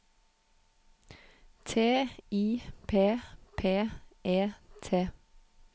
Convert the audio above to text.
T I P P E T